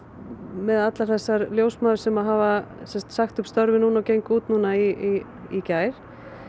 með allar þessar ljósmæður sem hafa sagt upp störfum og gengu út í í gær